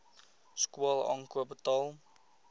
skool aankoop betaal